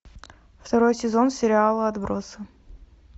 второй сезон сериала отбросы